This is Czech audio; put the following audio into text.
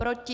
Proti?